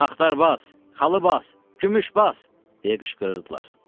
Axtar Bas, Xalı Bas, Gümüş Bas, deyə qışqırırdılar.